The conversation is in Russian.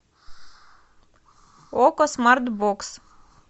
окко смарт бокс